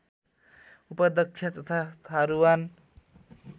उपाध्यक्ष तथा थारुवान